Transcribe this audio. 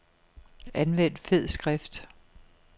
Anvend fed skrift.